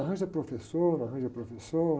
Arranja professor, arranja professor.